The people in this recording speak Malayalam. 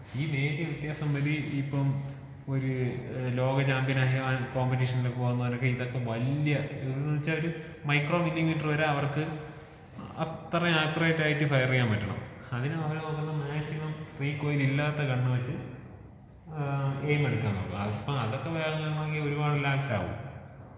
ഈ നേരിയ വ്യത്യാസം മതി ഇപ്പം ഒര് ലോക ചാമ്പ്യനായ കോമ്പറ്റിഷനിലൊക്കെ വന്നവൻക്ക് ഇതൊക്കെ വല്ല്യ ഇത് ന്ന് വെച്ചാൽ ഒര് മൈക്രോ മില്ലി മീറ്റർ വരെ അവർക്ക് അത്രേം ആകുറേറ്റ് ആയിട്ട് ഫയർ ചെയ്യാൻ പറ്റണം. അതിന് അവര് നോക്കുന്ന മാക്സിമം റീക്കോയിൽ ഇല്ലാത്ത ഗണ്ണ് വെച്ച് ഏഹ് എയിം എടുക്കാന്‍ നോക്കും അപ്പൊ അതൊക്കെ വാങ്ങണോങ്കി ഒരുപാട് ലാക്സ് ആവും.